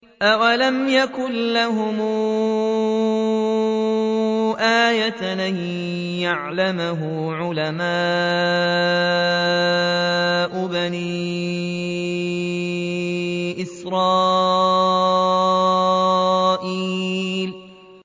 أَوَلَمْ يَكُن لَّهُمْ آيَةً أَن يَعْلَمَهُ عُلَمَاءُ بَنِي إِسْرَائِيلَ